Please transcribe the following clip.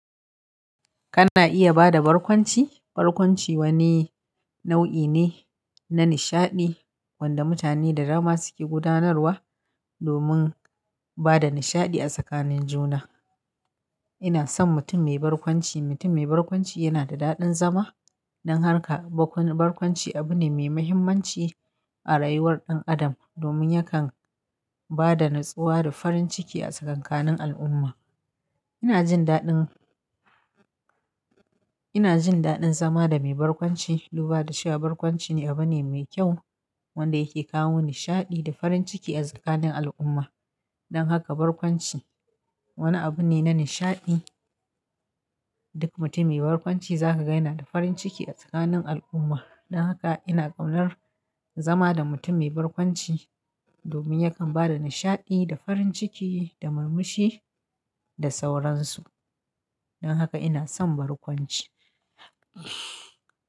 Kana iya ba da barkwanci? Barkwanci wani nau'i ne na nishaɗi wanda mutane da dama suke gudanarwa domin ba da nishaɗi a tsakanin juna. Ina son mutum mai barkwanci. Mutum mai barkwanci yana da daɗin zama. Don haka barkwanci abu ne mai mahimmanci a rayuwar ɗan adam domin yakan ba da natsuwa da farin ciki a tsakanin al'umma. Ina jin daɗin, ina jin daɗin zama da mai barkwanci, duba da cewa shi barkwanci ne abu ne mai kyau wanda yake kawo nishaɗi da farin ciki a tsakanin al'umma. Don haka barkwanci wani abu ne na nishaɗi. Duk mutum mai barkwanci za ka gaina da farin ciki a tsakanin al'umma. Don haka ina kaunar zama da mutum mai barkwanci domin yakan ba da nishaɗi da farin ciki da murmushi da sauransu. Don haka ina son barkwanci.